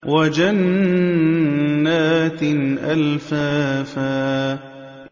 وَجَنَّاتٍ أَلْفَافًا